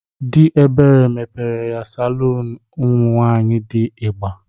Dị Ebere mepere ya salụnụ ụmụnwaanƴi dị igba.